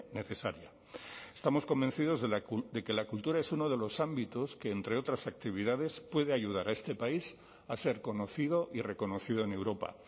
necesaria estamos convencidos de que la cultura es uno de los ámbitos que entre otras actividades puede ayudar a este país a ser conocido y reconocido en europa